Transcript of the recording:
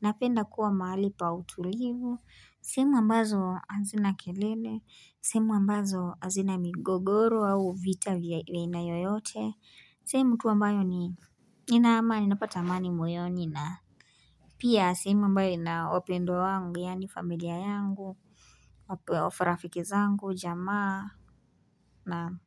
Napenda kuwa mahali pa utulivu. Semu ambazo hazina kelele, semu ambazo hazina migogoro au vita vya aina yoyote sehemu tuu ambayo inaamani, napata amani moyoni Pia semu ambayo ina wapendwa wangu yani familia yangu wapo rafiki zangu jamaa na.